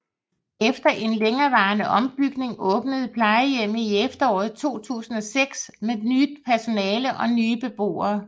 Efter en længerevarende ombygning åbnede plejehjemmet i efteråret 2006 med nyt personale og nye beboere